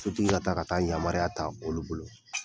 Sotigi ka taa ka taa yamaruya ta olu bolo